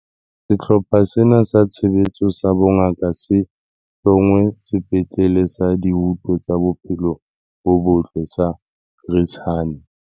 Sehlopha sena sa Tshebetso sa Bongaka se hlongwe Sepetlele sa Dihuto tsa Bophelo bo Botle sa Chris Hani.